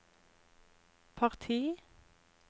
parti